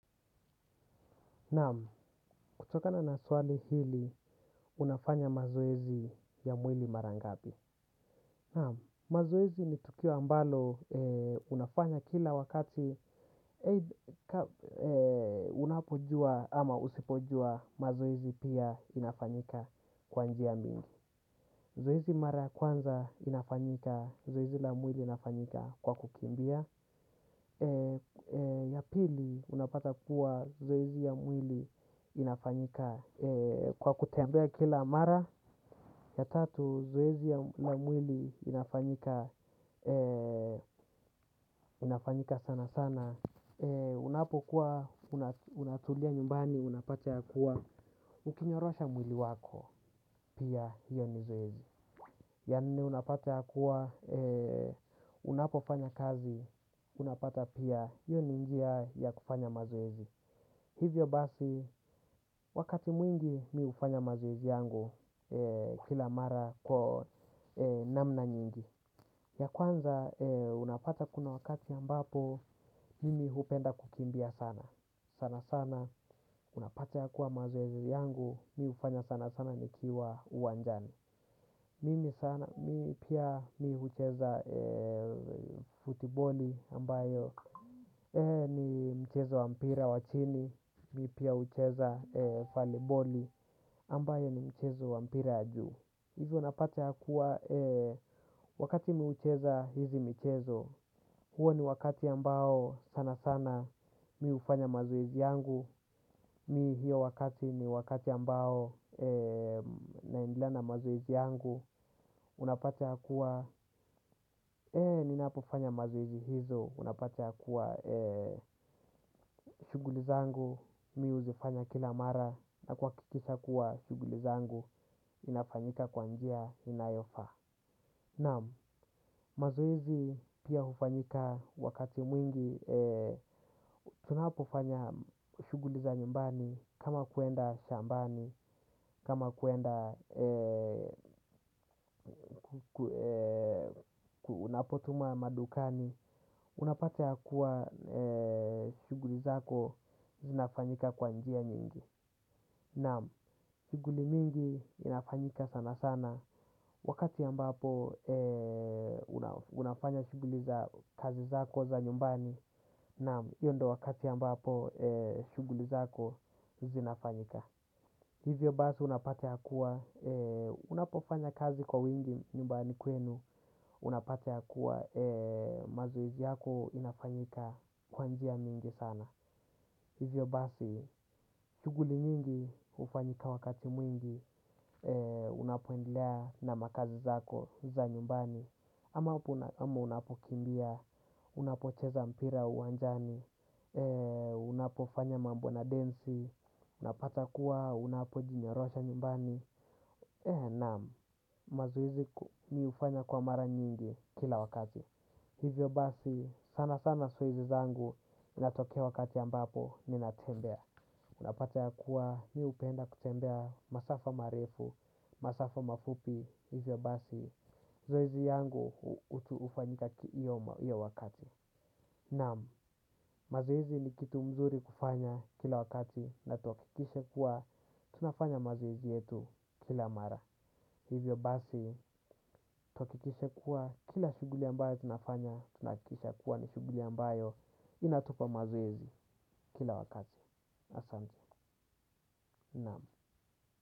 Naam, kutokana naswali hili, unafanya mazoezi ya mwili mara ngapi. Naam, mazoezi ni tukio ambalo unafanya kila wakati unapojua ama usipojua mazoezi pia inafanyika kwa njia mingi. Zoezi mara ya kwanza inafanyika, zoezi la mwili inafanyika kwa kukimbia. Ya pili unapata kuwa zoezi ya mwili inafanyika kwa kutembea kila mara ya tatu zoezi ya mwili inafanyika sana sana. Unapokuwa unatulia nyumbani unapata ya kuwa ukinyorosha mwili wako pia hiyo ni zoezi ya nne unapata yakuwa unapofanya kazi unapata pia hio ni njia ya kufanya mazoezi hivyo basi wakati mwingi mimi hufanya mazoezi yangu. Kila mara kwa namna nyingi ya kwanza unapata kuna wakati ambapo mimi hupenda kukimbia sana. Sana sana unapata yakuwa mazoezi yangu mimi hufanya sana sana nikiwa uwanjani mimi sana pia mimi hucheza futiboli ambayo ni mchezo wa mpira wa chini, mimi pia hucheza voliboli, ambayo ni mchezo wa mpira ya juu. Hivo unapata yakuwa wakati mimi hucheza hizi michezo, huo ni wakati ambao sana sana mimi hufanya mazoezi yangu. Mimi hiyo wakati ni wakati ambao naendelea na mazoezi yangu. Unapata yakuwa, ninapofanya mazoezi hizo unapata yakuwa shughuli zangu, mimi huzifanya kila mara na kuhakikisha kuwa shughuli zangu, inafanyika kwa njia, inayofaa naam, mazoezi pia hufanyika wakati mwingi. Tunapofanya shughuli za nyumbani, kama kuenda shambani. Kama kuenda, unapotuma madukani. Unapata yakuwa shughuli zako zinafanyika kwa njia nyingi naam shughuli mingi inafanyika sana sana. Wakati ambapo unafanya shughuli za kazi zako za nyumbani naam hio ndio wakati ambapo shughuli zako zinafanyika hivyo basi unapata yakuwa unapofanya kazi kwa wingi nyumbani kwenu. Unapata yakuwa mazoezi yako inafanyika kwa njia mingi sana. Hivyo basi, shughuli nyingi hufanyika wakati mwingi. Unapoendelea na makazi zako za nyumbani ama unapo kimbia, unapo cheza mpira uwanjani. Unapo fanya mambo na densi. Unapata kuwa, unapo jinyorosha nyumbani na mazoezi mimi hufanya kwa mara nyingi kila wakati. Hivyo basi sana sana sio hizi zangu inatokea wakati ambapo ninatembea. Unapata ya kuwa mimi hupenda kutembea masafa marefu, masafa mafupi hivyo basi zoezi yangu hufanyika kila wakati. Naam, mazoezi ni kitu mzuri kufanya kila wakati na tuhakikishe kuwa tunafanya mazoezi yetu kila mara. Hivyo basi, tuhakikishe kuwa, kila shughuli ambayo tunafanya, tuna hakikisha kuwa ni shughuli ambayo inatupa mazoezi kila wakati. Asante, naam.